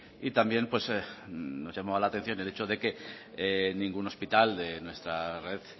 y también nos llama la atención el hecho de que ningún hospital de nuestra red